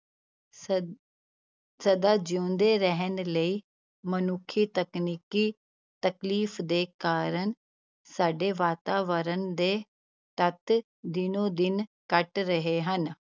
ਸ~ ਸਦਾ ਜਿਉਂਦੇ ਰਹਿਣ ਲਈ ਮਨੁੱਖੀ ਤਕਨੀਕੀ ਤਕਲੀਫ਼ ਦੇ ਕਾਰਨ ਸਾਡੇ ਵਾਤਾਵਰਨ ਦੇ ਤੱਤ ਦਿਨੋਂ ਦਿਨ ਘੱਟ ਰਹੇ ਹਨ।